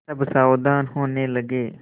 सब सावधान होने लगे